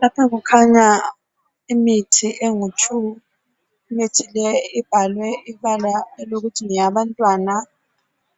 Lapha kukhanya imithi emibili. Imithi leyi ibhalwe ibala elokuthi ngeyabantwana,